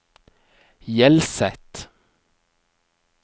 Hjelset